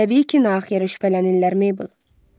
Təbii ki, nahaq yerə şübhələnirlər Meybl.